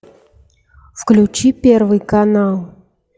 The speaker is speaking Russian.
включи первый канал